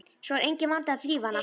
Svo er enginn vandi að þrífa hana.